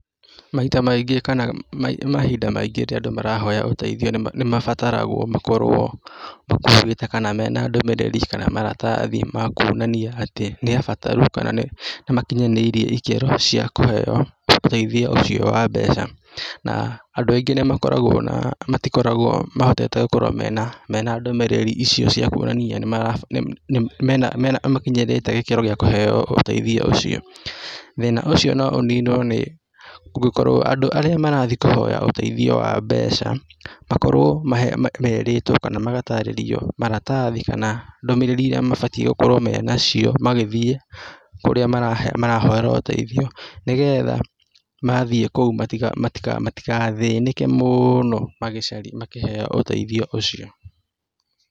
Maita maingĩ kana mahinda maingĩ rĩrĩa andũ marahoya ũteithio nĩmabataragwo makorwo makuĩte kana mena ndũmĩrĩri kana maratathi ma kuonania atĩ nĩabataru kana nĩmakinyanĩirie ikĩro cia kũheyo ũteithio ũcio wa mbeca. Na andũ aingĩ nĩmakoragwo na, matikoragwo mahotete gũkorwo mena mena ndũmĩrĩrĩ icio cia kuonania nĩmakinyĩrĩte gĩkĩro gĩa kũheyo ũteithio ũcio. Thĩna ũcio no ũninwo nĩ, kũngĩkorwo andũ arĩa marathie kũhoya ũteithio wa mbeca makorwo merĩtwo kana magatarĩrio maratathi kana ndũmĩrĩri iria mabatie gũkorwo menacio magĩthie kũrĩa marahoera ũteithio nĩgetha mathiĩ kũu matigathĩnĩke mũno magĩcaria makĩheo ũteithio ũcio.